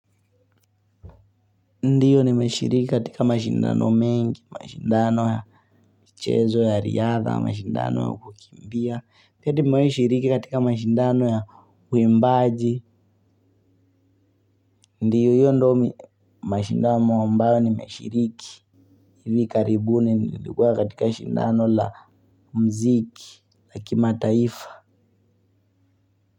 Ndiyo nimeshiriki katika mashindano mengi, mashindano ya mchezo ya riadha, mashindano ya kukimbia. Pia tumewahi shiriki katika mashindano ya uimbaji. Ndiyo hiyo ndo mi mashindano ambayo nimeshiriki. Hivi karibuni nilikuwa katika shindano la muziki, la kimataifa.